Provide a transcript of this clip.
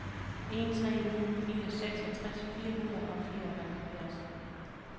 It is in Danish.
en tre ni fire seksogtres fire hundrede og fireoghalvfjerds